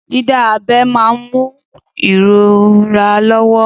Dídá abẹ́ máa ń mú ìrora lọ́wọ́.